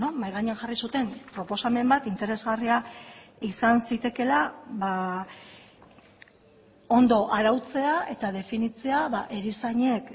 mahai gainean jarri zuten proposamen bat interesgarria izan zitekeela ondo arautzea eta definitzea erizainek